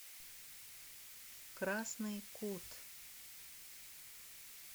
красный кут